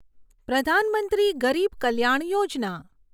પ્રધાન મંત્રી ગરીબ કલ્યાણ યોજના